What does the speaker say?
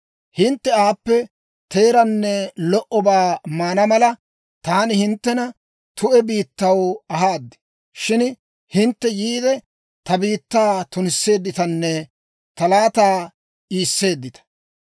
Hintte aappe teeraanne lo"obaa maana mala, taani hinttena tu'e biittaw ahaad; shin hintte yiide, ta biittaa tunisseedditanne ta laataa iiseedditta.